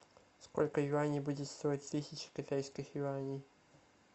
сколько юаней будет стоить тысяча китайских юаней